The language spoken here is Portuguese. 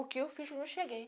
O que eu fiz eu não cheguei.